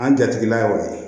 An jatigɛla y'o ye